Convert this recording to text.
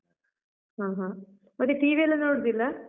ಹಾ, ಹ. ಮತ್ತೆ TV ಯೆಲ್ಲ ನೋಡುದಿಲ್ಲ?